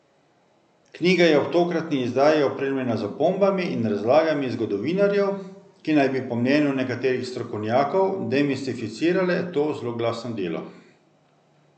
Knjiga je ob tokratni izdaji opremljena z opombami in razlagami zgodovinarjev, ki naj bi po mnenju nekaterih strokovnjakov demistificirale to zloglasno delo.